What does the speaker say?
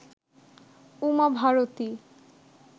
Uma Bharati